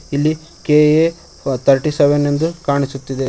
ಇಲ್ಲಿ K A thirty seven ಎಂದು ಕಾಣಿಸುತ್ತಿದೆ.